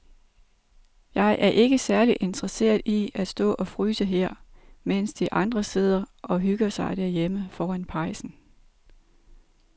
Jeg er ikke særlig interesseret i at stå og fryse her, mens de andre sidder og hygger sig derhjemme foran pejsen.